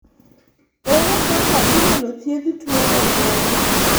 Ere kaka inyalo thiedh tuo obwongo?